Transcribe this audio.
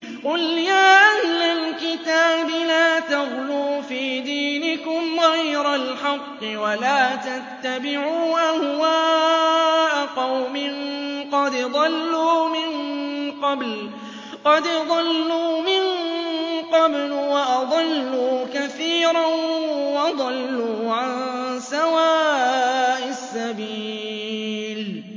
قُلْ يَا أَهْلَ الْكِتَابِ لَا تَغْلُوا فِي دِينِكُمْ غَيْرَ الْحَقِّ وَلَا تَتَّبِعُوا أَهْوَاءَ قَوْمٍ قَدْ ضَلُّوا مِن قَبْلُ وَأَضَلُّوا كَثِيرًا وَضَلُّوا عَن سَوَاءِ السَّبِيلِ